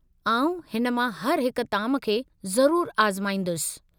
आउं हिन मां हर हिक ताम खे ज़रूरु आज़माईंदुसि।